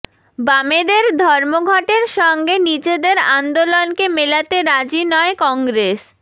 বামেদের ধর্মঘটের সঙ্গে নিজেদের আন্দোলনকে মেলাতে রাজি নয় কংগ্রেস